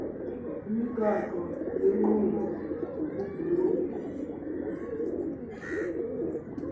imigaqo yenkqubo ukuvunywa